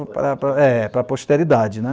para para. É, para a posterioridade, né?